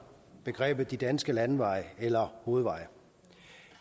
begrebet de danske landeveje eller hovedveje